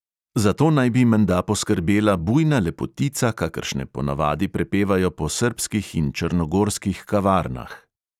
Za to naj bi menda poskrbela bujna lepotica, kakršne ponavadi prepevajo po srbskih in črnogorskih kavarnah.